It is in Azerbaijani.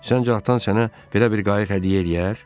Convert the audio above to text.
Səncə, atan sənə belə bir qayıq hədiyyə eləyər?